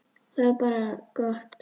Það var bara gott.